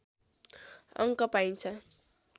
अङ्क पाइन्छ